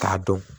K'a dɔn